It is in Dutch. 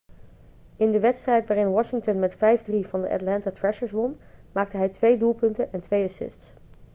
in de wedstrijd waarin washington met 5-3 van de atlanta thrashers won maakte hij 2 doelpunten en 2 assists